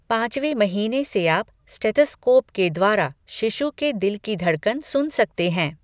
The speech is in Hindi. पाँचवे महीने से आप स्टेथोस्कोप के द्वारा शिशु के दिल की धड़कन सुन सकते हैं।